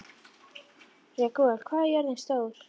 Ragúel, hvað er jörðin stór?